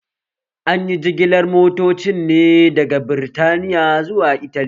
Anyi jigilar motocin ne daga Birtaniya zuwa Italy